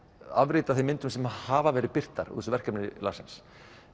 afrit af þeim myndum sem hafa verið birtar úr þessu verkefni Larsens